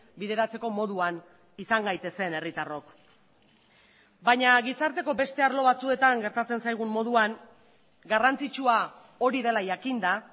bideratzeko moduan izan gaitezen herritarrok baina gizarteko beste arlo batzuetan gertatzen zaigun moduan garrantzitsua hori dela jakinda